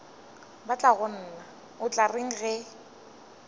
batlagonna o tla reng ge